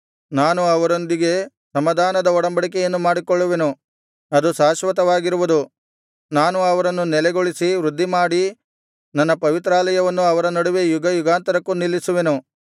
ನಾನು ಅವರೊಂದಿಗೆ ಸಮಾಧಾನದ ಒಡಂಬಡಿಕೆಯನ್ನು ಮಾಡಿಕೊಳ್ಳುವೆನು ಅದು ಶಾಶ್ವತವಾಗಿರುವುದು ನಾನು ಅವರನ್ನು ನೆಲೆಗೊಳಿಸಿ ವೃದ್ಧಿಮಾಡಿ ನನ್ನ ಪವಿತ್ರಾಲಯವನ್ನು ಅವರ ನಡುವೆ ಯುಗಯುಗಾಂತರಕ್ಕೂ ನಿಲ್ಲಿಸುವೆನು